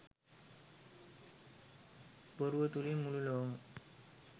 බොරුව තුළින් මුළු ලොවම